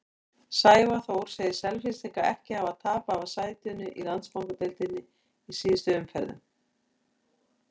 Sævar Þór segir Selfyssinga ekki hafa tapað af sætinu í Landsbankadeildinni í síðustu umferðunum.